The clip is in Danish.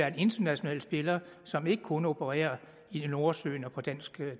en international spiller som ikke kun opererer i nordsøen og på dansk